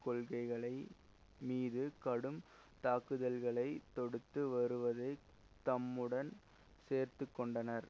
கொள்கைகளை மீது கடும் தாக்குதல்களை தொடுத்து வருவதையும் தம்முடன் சேர்த்துக்கொண்டனர்